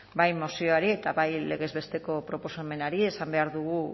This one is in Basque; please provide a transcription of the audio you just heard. bai mozioari eta bai legez besteko proposamenari esan behar dugu